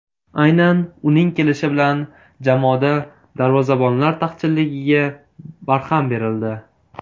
Aynan uning kelishi bilan jamoada darvozabonlar taqchilligiga barham berildi.